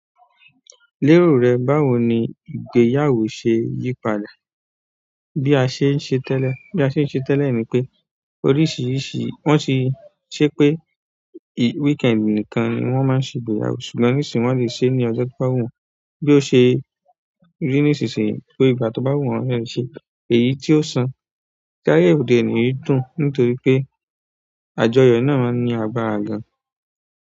Lérò rẹ, báwo ni ìgbéyàwó ṣe yí padà? Bí a ṣe ń ṣe tẹ́lẹ̀, bí a ṣe ń ṣe tẹ́lẹ̀ ni pé oríṣìíríṣìí wón ti ṣe pé weekend nìkan ni wón máa ń ṣe ìgbéyàwó ṣùgbọ́n nísìnyí wón lè ṣe é ní ọjọ́ tó bá wù wọ́n. Bí ó ṣe rí nísìsiyìí pé ìgbà tó bá wù wọ́n ni wọ́n lè ṣe é. Èyí tí ó sàn kí ayé ode oni dùn nítorí pé àjọyọ̀ náà ní agbára gan.